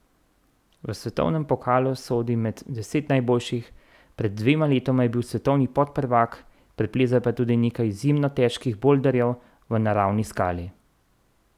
V svetovnem pokalu sodi med deset najboljših, pred dvema letoma je bil svetovni podprvak, preplezal pa je tudi nekaj izjemno težkih bolderjev v naravni skali.